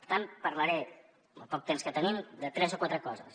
per tant parlaré el poc temps que tenim de tres o quatre coses